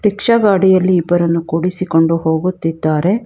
Rickshaw ಗಾಡಿಯಲ್ಲಿ ಇಬ್ಬರನ್ನು ಕೂಡಿಸಿಕೊಂಡು ಹೋಗುತ್ತಿದ್ದಾರೆ.